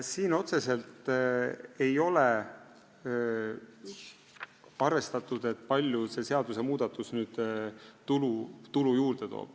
Siin ei ole otseselt arvestatud, kui palju see seadusmuudatus tulu juurde toob.